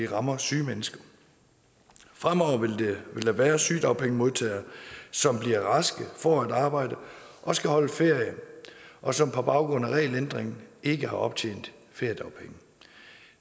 ramme syge mennesker fremover vil der være sygedagpengemodtagere som bliver raske får et arbejde og skal holde ferie og som på baggrund af regelændringen ikke har optjent feriedagpenge